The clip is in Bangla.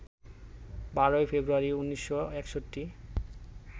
১২ই ফেব্রুয়ারি, ১৯৬১